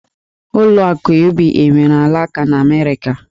Ụlọ akụ UBA nwere alaka n'Amerịka